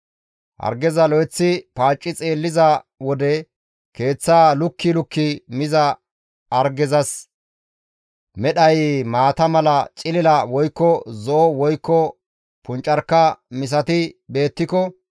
Hargeza lo7eththi paacci xeelliza wode keeththaa lukki lukki miza hargezas medhay maata mala cilila woykko zo7o woykko puncarka misati beettiko,